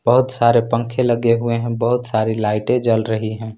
बहुत सारे पंखे लगे हुए हैं बहुत सारी लाइटे जल रही हैं।